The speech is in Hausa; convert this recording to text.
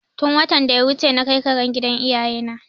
Tun watan da ya wuce na kai karen gida iyaye na